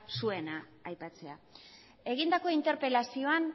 zuena aipatzea egindako interpelazioan